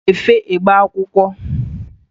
Ọ ga-efe egbe akwụkwọ.